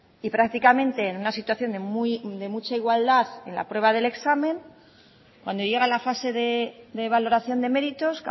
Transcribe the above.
y prácticamente en una situación de mucha igualdad en la prueba del examen cuando llega la fase de valoración de méritos